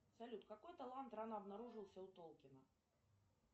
салют какой талант рано обнаружился у толкина